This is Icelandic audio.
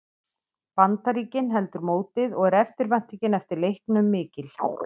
Bandaríkin heldur mótið og er eftirvæntingin eftir leiknum mikil.